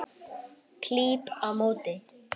Klíp á móti.